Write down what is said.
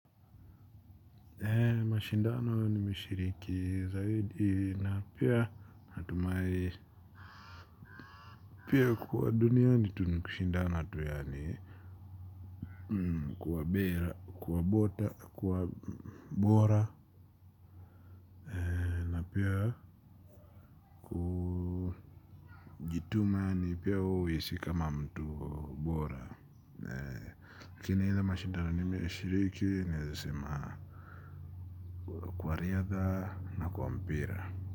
Mashindano nimeshiriki zaidi na pia natumai. Pia kwa dunia ni tu ni kushindana tu yani. Kuwa bera kuwa bota kuwa bora. Na pia najituma ni pia uishi kama mtu bora tena ile mashindano nmeshiriki naweza sema kwa riadha na kwa mpira.